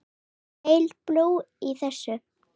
Er heil brú í þessu?